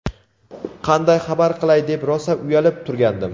"Qanday xabar qilay deb rosa uyalib turgandim".